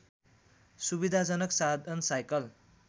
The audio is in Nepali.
सुविधाजनक साधन साइकल